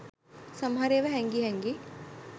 සමහර ඒවා හැංගි හැංගි